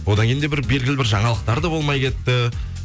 одан кейін де белгілі бір жаңалықтар да болмай кетті